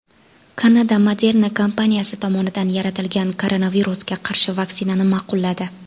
Kanada Moderna kompaniyasi tomonidan yaratilgan koronavirusga qarshi vaksinani ma’qulladi.